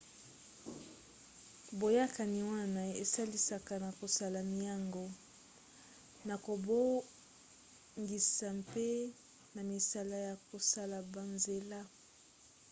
boyakani wana esalisaka na kosala miango na kobongisa mpe na misala ya kosala banzela